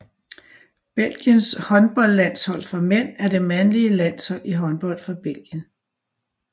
Belgiens håndboldlandshold for mænd er det mandlige landshold i håndbold for Belgien